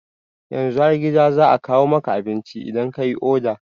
Yanzu har gida za a kawo maka abinci idan kayi oda